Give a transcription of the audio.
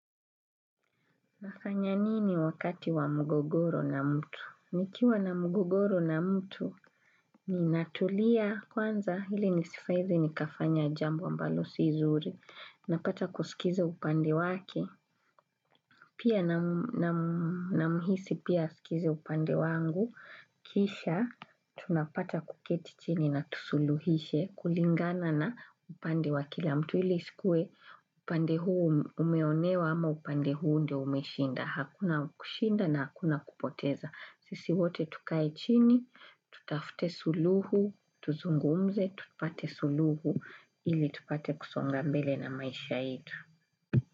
Nafanya nini wakati wa mugogoro na mtu? Nikiwa na mugogoro na mtu, ninatulia kwanza hili nisfaizi nikafanya jambo ambalo si zuri. Napata kusikiza upande wake. Pia na muhisi pia asikize upande wangu. Kisha, tunapata kuketi chini na tusuluhishe kulingana na upande wa kila mtu. Hili isikue, upande huu umeonewa ama upande huu ndio umeshinda. Hakuna kushinda na hakuna kupoteza Sisi wote tukae chini Tutafute suluhu Tuzungumze tupate suluhu Ili tupate kusonga mbele na maisha ito.